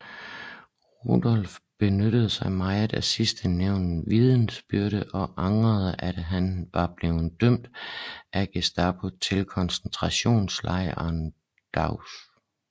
Rudolf benyttede sig meget af sidstnævntes vidnesbyrd og angrede at han var blevet dømt af Gestapo til koncentrationslejren Dachau